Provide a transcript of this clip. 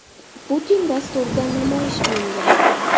Putin” dasturida namoyish qilingan .